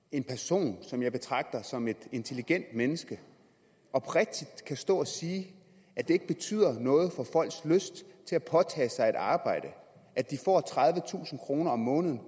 en person som jeg betragter som et intelligent menneske oprigtigt kan stå og sige at det ikke betyder noget for folks lyst til at påtage sig et arbejde at de får tredivetusind kroner om måneden